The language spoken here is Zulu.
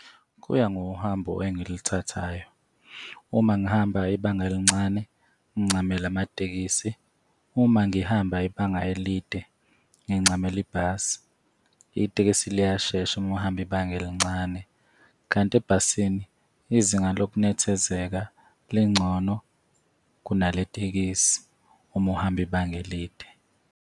Kuya ngohambo engiluthathayo. Uma ngihamba ibanga elincane ngincamela amatekisi, uma ngihamba ibanga elide ngincamela ibhasi. Itekisi liyashesha uma uhamba ibanga elincane, kanti ebhasini izinga lokunethezeka lingcono kunaletekisi uma uhamba ibanga elide.